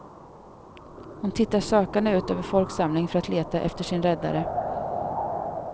Hon tittar sökande ut över folksamlingen för att leta efter sin räddare.